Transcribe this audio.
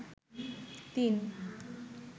তিন